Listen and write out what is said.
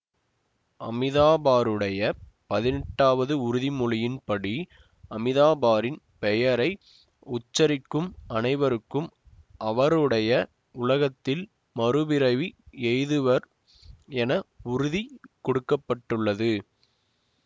அமிதாபருடைய பதினெட்டாவது உறுதிமொழியின் படி அமிதபாரின் பெயரை உச்சரிக்கும் அனைவரும் அவருடைய உலகத்தில் மறுபிறவி எய்துவர் என உறுதி கூற பட்டுள்ளது